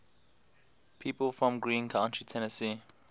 people from greene county tennessee